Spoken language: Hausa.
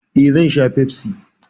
Eh, zan sha Pepsi.